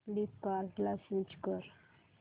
फ्लिपकार्टं ला स्विच कर